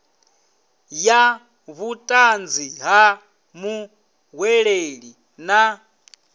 ya vhutanzi ha muhweleli na